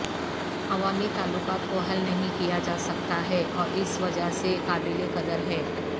عوامی تعلقات کو حل نہیں کیا جاسکتا ہے اور اس وجہ سے قابل قدر ہے